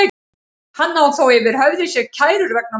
Hann á þó yfir höfði sér kærur vegna málsins.